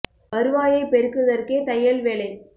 வருவாயைப் பெருக்குதற்கே தையல் வேலை